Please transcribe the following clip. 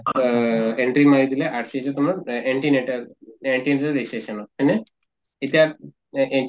আহ entry মাৰি দিলে RCS ত তোমাৰ anti natal registration হয় নে? এতিয়া anti